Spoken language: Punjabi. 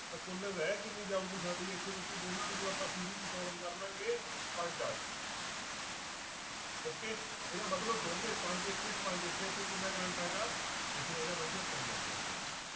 ਤਾਂ ਕੁੱਲ ਰਹਿ ਕਿੰਨੀ ਜਾਊਗੀ ਸਾਡੇ ਇੱਥੇ ਬੱਚੇ ਦੋਨਾਂ ਨੂੰ ਜਦੋਂ ਆਪਾਂ series 'ਚ solve ਕਰ ਲਵਾਂਗੇ ਪੰਜ ਆ ਜਾਊਗੀ okay ਇਹਦਾ ਮਤਲਬ ਦੋਨੇਂ ਪੰਜ ਇੱਥੇ ਆ, ਪੰਜ ਇੱਥੇ ਆ, ਇੱਥੇ ਕਿੰਨਾ ਕਰੰਟ ਆਏਗਾ ਇੱਥੇ ਆਏਗਾ ਬੱਚਿਓ ਤਿੰਨ ampere ਕਰੰਟ।